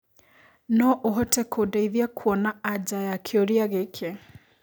no ũhote kũndeithia kũona anja ya kĩũria gĩkĩ